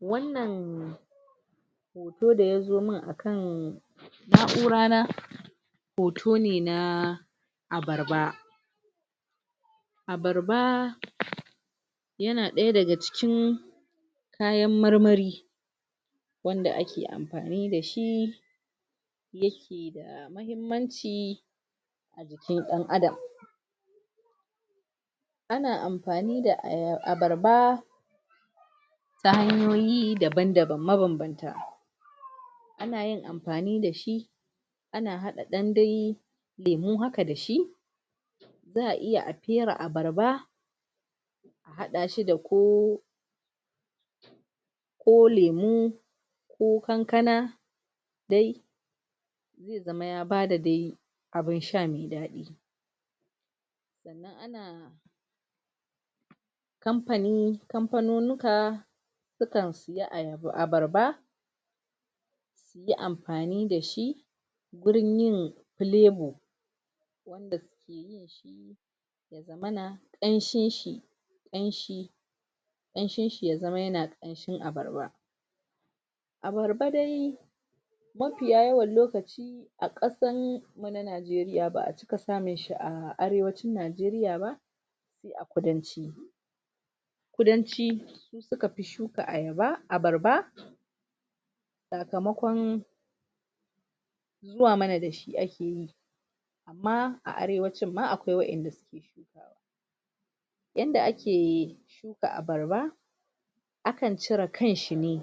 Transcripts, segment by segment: Wannan sai da ya biyo mun a kan na'ura na hoto ne na abarba abarba yana ɗaya daga cikin kayan marmari wanda ake amfani da shi? bambamci? ɗan Adam ana amfani da abarba ta hanyoyi daban daban mababbanta a na yin amfani dashi ana haɗa ɗan danyi lemu haka da shi za a iya a fera abarba haɗa shi da ko ko lemu ko kankana? zai zama ya bada? abun sha mai daɗi kamfani kamfanunika su kan siya abarba su ke amfani da shi wurin yin flavour? ana ƙamshin shi ƙamshi ƙamshin shi ya zama yana? abarba abarba dai mafiya yawan lokaci a ƙasan na Najeriya ba a cika samun shi a Arewacin Najeriya ba kudan kudanci suka fi shuka abarba sakamakon zuwa mana da shi a ke yi amma a Arewacin ma akwai waɗanda suke yi yadda ake shuka abarba a kan cire kan shi ne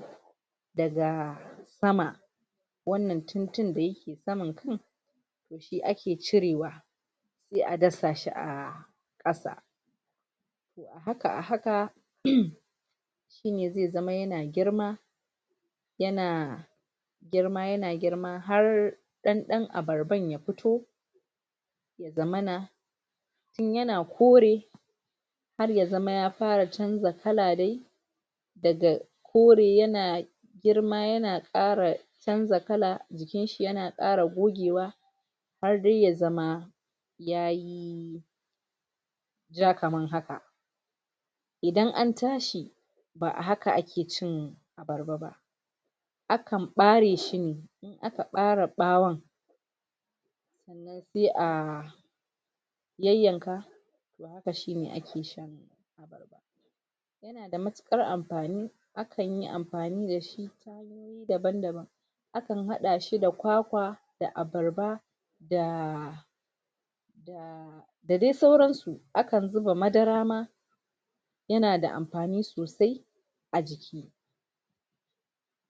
daga sama wannan tuntun da saman kai shi ake cirewa sai a dasa shi a Ƙasa Ƙasa a haƘa shine zai zama yana girma yana yana girma yana girma har har ɗan ɗan abarban ya fito ya zamana tun yana kore har ya zama ya fara canza kala daga kore yana girma yana Ƙara canza kala jikinshi yana Ƙara gogewa har dai ya zama yayi ja kamar haka idan an tashi ba a haka a ke cin abarba akan ɓare shi ne a ka ɓare ɓawon sai a yanyanka kashin da ake sha da matuƘar amfani a kan yi amfani da shi daban daban a kan haɗashi da kwakwa ko abarba da da dai sauransu akan zuba madara ma yana da amfani sosai a jiki